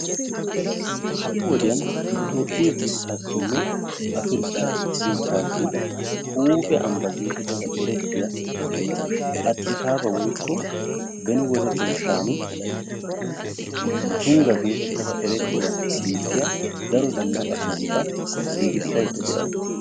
Ha''i wodiyan nu Toophphee biittaassinne Afirkkaa biittaassi huuphe ambbaa getettada erettiya Adisaaba woykko beni wode xeessan Tungga geetettada erettiya biittiya daro zannaqa sohota giigissaydda de'awusu.